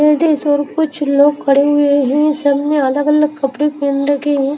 Ladies और कुछ लोग खड़े हुए हैं सब ने अलग अलग कपड़े पहेन रखे हैं।